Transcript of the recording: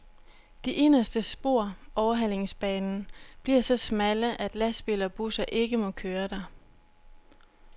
De inderste spor, overhalingsbanen, bliver så smalle, at lastbiler og busser ikke må køre der.